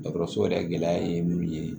Dɔgɔtɔrɔso yɛrɛ gɛlɛya ye mun ye